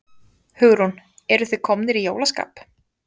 Hugrún: Eruð þið komnir í jólaskap?